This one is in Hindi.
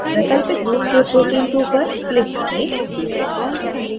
वैकल्पिक रूप से protein 2 पर click करें